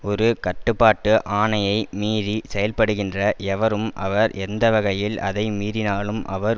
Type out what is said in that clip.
ஒரு கட்டுப்பாட்டு ஆணையை மீறி செயல்படுகின்ற எவரும் அவர் எந்தவகையில் அதை மீறினாலும் அவர்